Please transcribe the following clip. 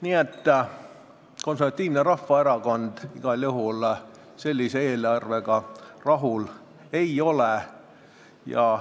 Nii et Konservatiivne Rahvaerakond igal juhul sellise eelarvega rahul ei ole ja